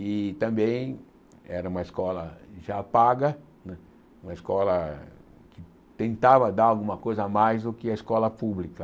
E também era uma escola já paga né, uma escola que tentava dar alguma coisa a mais do que a escola pública.